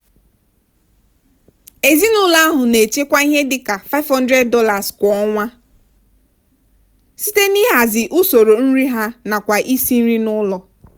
ezinụlọ ahụ na-echekwa ihe dị ka $500 kwa ọnwa site n'ịhazi usoro nri ha nakwa isi nri n'ụlọ.